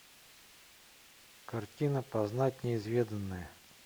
картина познать неизведанное